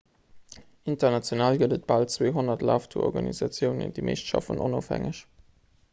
international gëtt et bal 200 laftourorganisatiounen déi meescht schaffen onofhängeg